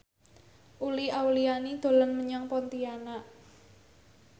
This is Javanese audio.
Uli Auliani dolan menyang Pontianak